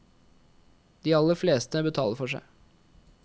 De aller fleste betaler for seg.